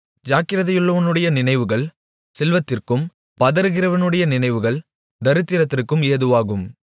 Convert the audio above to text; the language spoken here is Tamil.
ஜாக்கிரதையுள்ளவனுடைய நினைவுகள் செல்வத்திற்கும் பதறுகிறவனுடைய நினைவுகள் தரித்திரத்திற்கும் ஏதுவாகும்